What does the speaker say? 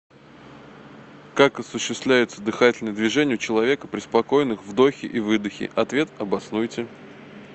как осуществляются дыхательные движения у человека при спокойных вдохе и выдохе ответ обоснуйте